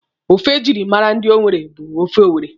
Ofe ejiri mara ndị Owere bụ ofe owere.